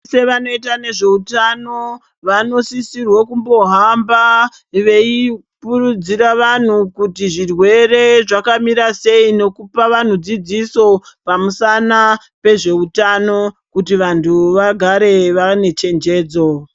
Veshe vanoite nezveutano vanosisirwe kumbohamba veipurudzira vanhu kuti zvirwere zvakamira sei nekupa vanhu dzidziso pamusana nezveutano kuti vanthu vagare vane chenjedzo.